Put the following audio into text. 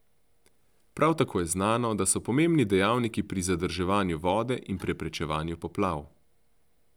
Prav tako je znano, da so pomembni dejavniki pri zadrževanju vode in preprečevanju poplav.